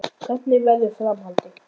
Hvernig verður framhaldið?